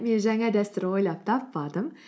мен жаңа дәстүр ойлап таппадым